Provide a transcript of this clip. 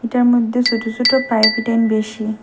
এটার মধ্যে সোট সোট পাইপ ফিটিং বেশি।